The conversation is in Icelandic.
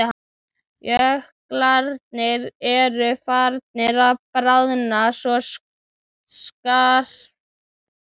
Jöklarnir eru farnir að bráðna svo skarpt.